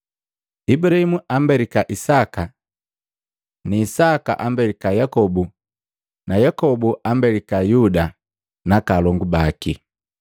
Ibulahimu ambelika Isaka na Isaka ambelika Yakobo na Yakobu ambelika Yuda naaka alongu baki.